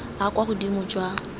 a a kwa godimo jwa